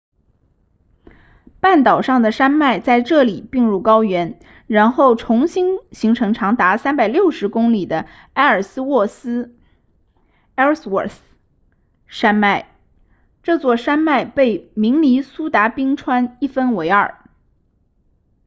半岛上的山脉在这里并入高原然后重新形成长达360公里的埃尔斯沃斯 ellsworth 山脉这座山脉被明尼苏达冰川一分为二